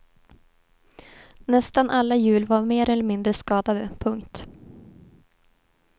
Nästan alla hjul var mer eller mindre skadade. punkt